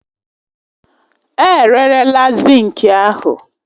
E rerela zinki ahụ